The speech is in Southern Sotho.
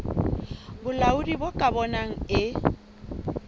bolaodi bo ka bonang e